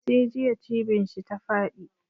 Sai jiya cibin shi ta faɗi.